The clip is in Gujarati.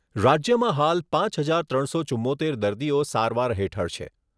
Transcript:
રાજ્યમાં હાલ પાંચ હજાર ત્રણસો ચુંમોતેર દર્દીઓ સારવાર હેઠળ છે.